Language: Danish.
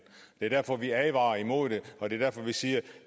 det er derfor vi advarer imod det og det er derfor vi siger at